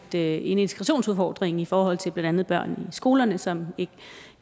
der er en integrationsudfordring i forhold til blandt andet børn i skolerne som ikke